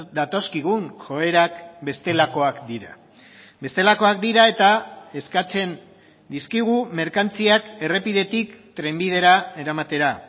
datozkigun joerak bestelakoak dira bestelakoak dira eta eskatzen dizkigu merkantziak errepidetik trenbidera eramatera